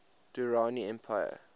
durrani empire